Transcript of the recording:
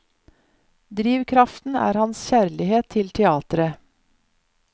Drivkraften er hans kjærlighet til teateret.